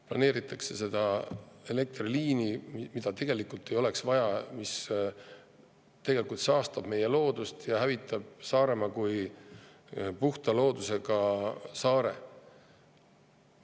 Planeeritakse seda elektriliini, mida tegelikult ei oleks vaja, mis saastab meie loodust ja hävitab Saaremaa kui puhta loodusega saare.